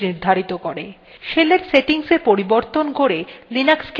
শেলের settings এ পরিবর্তন করে লিনাক্সকে আমাদের পছন্দমত করে নেওয়া যায়